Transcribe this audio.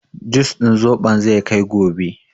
Jus din zobon zai kai gobe.